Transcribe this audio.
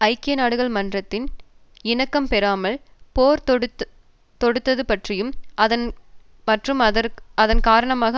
ஐக்கிய நாடுகள் மன்றத்தின் இணக்கம்பெறாமல் போர் தொடுத்தது பற்றியும் மற்றும் அதன் காரணமாக